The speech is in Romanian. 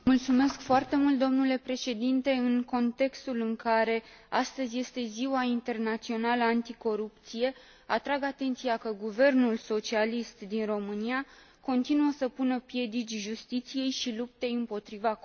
Domnule președinte, în contextul în care astăzi este ziua internațională anticorupție, atrag atenția că guvernul socialist din România continuă să pună piedici justiției și luptei împotriva corupției.